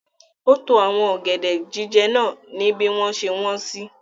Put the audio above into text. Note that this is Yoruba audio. Ó to àwọn ọ̀gẹ̀dẹ̀ jíjẹ náà ni bí wọ́n ṣe wọ́n sí.